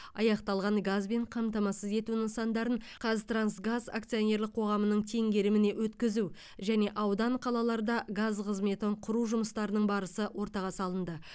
аяқталған газбен қамтамасыз ету нысандарын қазтрансгаз акционерлік қоғамының теңгеріміне өткізу және аудан қалаларда газ қызметін құру жұмыстарының барысы ортаға салынды